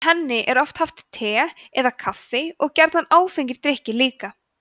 með henni er oft haft te eða kaffi og gjarnan áfengir drykkir líka